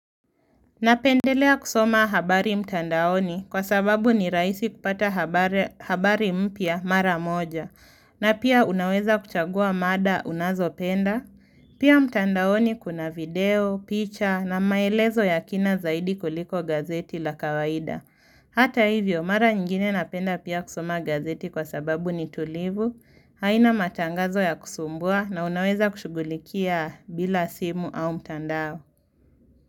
Napendelea kusoma habari mtandaoni kwa sababu ni rahisi kupata habari habari mpya mara moja na pia unaweza kuchagua mada unazo penda. Pia mtandaoni kuna video, picha na maelezo ya kina zaidi kuliko gazeti la kawaida. Hata hivyo, mara nyinginine napenda pia kusoma gazeti kwa sababu ni tulivu, haina matangazo ya kusumbua na unaweza kushugulikia bila simu au mtandao.